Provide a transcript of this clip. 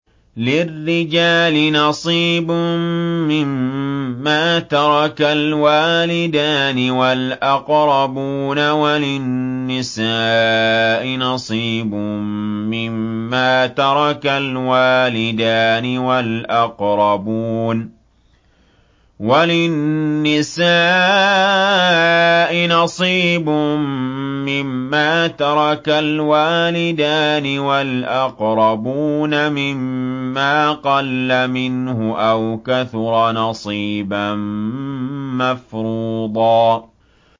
لِّلرِّجَالِ نَصِيبٌ مِّمَّا تَرَكَ الْوَالِدَانِ وَالْأَقْرَبُونَ وَلِلنِّسَاءِ نَصِيبٌ مِّمَّا تَرَكَ الْوَالِدَانِ وَالْأَقْرَبُونَ مِمَّا قَلَّ مِنْهُ أَوْ كَثُرَ ۚ نَصِيبًا مَّفْرُوضًا